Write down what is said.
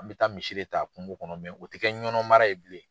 An bɛ taa misi de ta kungo kɔnɔ o tɛ kɛ Ɲɔnɔn mara ye bilen.